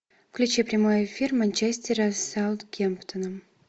включи прямой эфир манчестера с саутгемптоном